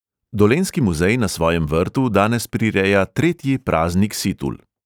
Dolenjski muzej na svojem vrtu danes prireja tretji praznik situl.